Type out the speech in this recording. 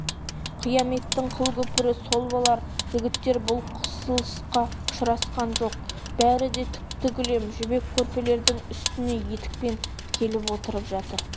қияметтің қыл көпірі сол болар жігіттер бұл қысылысқа ұшырасқан жоқ бәрі де түкті кілем жібек көрпелердің үстіне етікпен келіп отырып жатыр